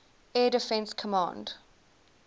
air defense command